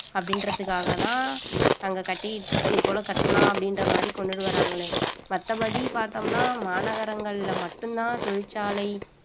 அப்படின்றதுக்காகதான் நாங்க கட்டி இதுபோல கட்டலாம் அப்படின்ற மாரி கொண்டுட்டு வர்றாங்களே மத்தபடி பார்த்தோம்னா மாநகரங்கள்ல மட்டும்தான் தொழிற்சாலை